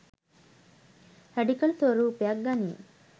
Radical ස්වරූපයක් ගනියි.